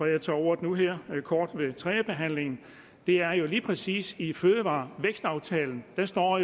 jeg tager ordet nu her kort ved tredjebehandlingen det er jo lige præcis i fødevarevækstaftalen at der står